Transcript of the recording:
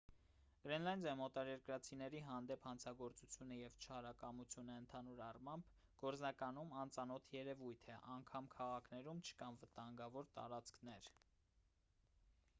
գրենլանդիայում օտարերկրացիների հանդեպ հանցագործությունը և չարակամությունը ընդհանուր առմամբ գործնականում անծանոթ երևույթ է անգամ քաղաքներում չկան վտանգավոր տարածքներ